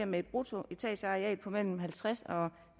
med et bruttoetageareal på mellem halvtreds og